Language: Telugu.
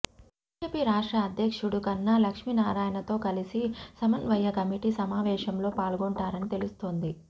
బీజేపీ రాష్ట్ర అధ్యక్షుడు కన్నా లక్ష్మీనారాయణతో కలిసి సమన్వయ కమిటీ సమావేశంలో పాల్గొంటారని తెలుస్తోంది